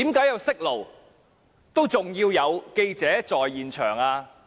有訊號為何還要記者在場？